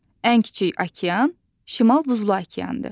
Ən kiçik okean Şimal Buzlu okeandır.